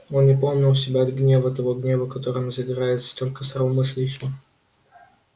он не помнил себя от гнева того гнева которым загорается только здравомыслящий